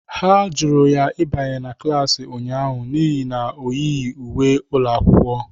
Ha jụrụ ya ịbanye na klas ụnyaahụ n'ihi na ọ yighi uwe ụlọ akwụkwọ.